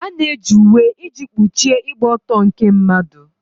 A na-eji uwe iji kpuchie ịgba ọtọ nke mmadụ.